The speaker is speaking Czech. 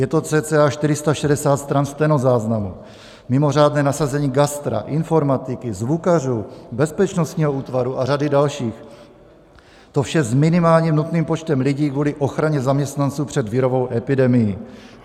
Je to cca 460 stran stenozáznamu, mimořádné nasazení gastra, informatiky, zvukařů, bezpečnostního útvaru a řady dalších, to vše s minimálním nutným počtem lidí kvůli ochraně zaměstnanců před virovou epidemií.